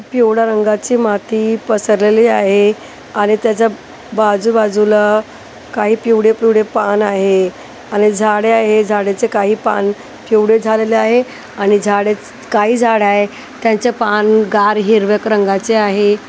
पिवळा रंगाची माती पसरलेली आहे आणि त्याच्या बाजू बाजूला काही पिवळे-पिवळे पान आहे आणि झाडे आहे झाडाचे काही पान पिवळे झालेले आहे आणि झाडे काही झाड आहे त्यांच्या पान गार हिरव्या क रंगाचे आहे.